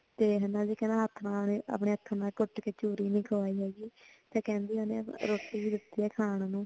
ਤੇ ਹੇਨਾ ਤੇ ਕਹਿਣਾ ਆਪਣੇ ਹੱਥ ਨਾਲ ਕੁੱਟ ਕੇ ਚੂਰੀ ਨਹੀਂ ਖਵਾਈ ਹੇਗੀ ਕੇਂਦੀ ਹੈ ਰੋਟੀ ਵੀ ਦਿਤੀ ਹੈ ਖਾਨ ਨੂੰ